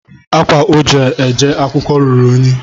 Ákwá o ji eje akwụkwọ ruru eyi